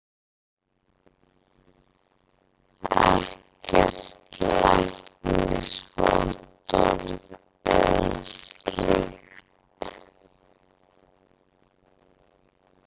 Ekkert læknisvottorð eða slíkt.